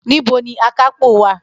Nibo ni akápò wa?